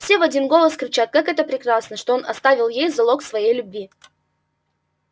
все в один голос кричат как это прекрасно что он оставил ей залог своей любви